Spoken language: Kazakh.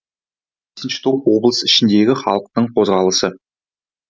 бесінші топ облыс ішіндегі халықтың қозғалысы